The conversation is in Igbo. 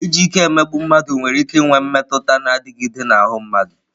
Iji ike emegbu mmadụ nwere ike inwe mmetụta na-adịgide n'ahụ mmadụ.